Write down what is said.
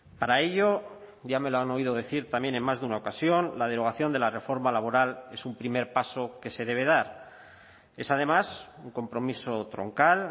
para ello ya me lo han oído decir también en más de una ocasión la derogación de la reforma laboral es un primer paso que se debe dar es además un compromiso troncal